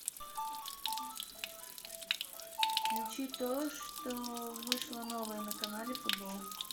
включи то что вышло новое на канале футбол